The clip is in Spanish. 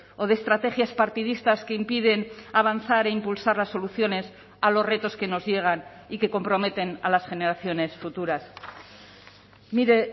o de estrategias partidistas que impiden avanzar e impulsar las soluciones a los retos que nos llegan y que comprometen a las generaciones futuras mire